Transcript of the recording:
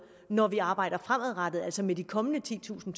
når vi arbejder fremadrettet altså med de kommende titusind